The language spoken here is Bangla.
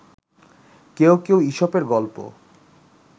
কেউ কেউ ঈশপের গল্প